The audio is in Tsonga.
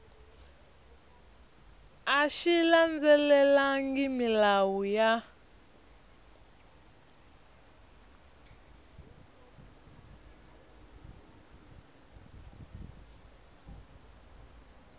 a xi landzelelangi milawu ya